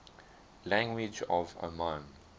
languages of oman